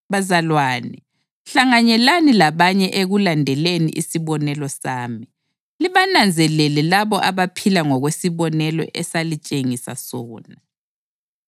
Bazalwane, hlanganyelani labanye ekulandeleni isibonelo sami, libananzelele labo abaphila ngokwesibonelo esalitshengisa sona.